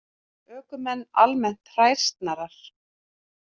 Ökumenn almennt hræsnarar